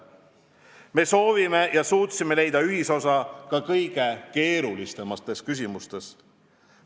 Me soovisime ja suutsime leida ühisosa ka kõige keerulisemates küsimustes.